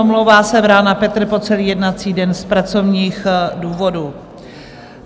Omlouvá se Vrána Petr po celý jednací den z pracovních důvodů.